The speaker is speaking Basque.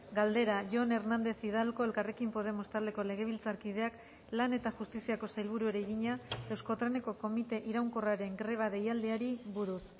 galdera jon hernández hidalgo elkarrekin podemos taldeko legebiltzarkideak lan eta justiziako sailburuari egina euskotreneko komite iraunkorraren greba deialdiari buruz